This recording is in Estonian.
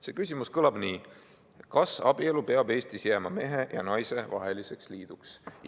See küsimus kõlab nii: kas abielu peab Eestis jääma mehe ja naise vaheliseks liiduks?